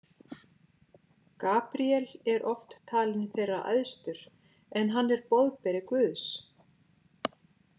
Gabríel er oft talinn þeirra æðstur, en hann er boðberi Guðs.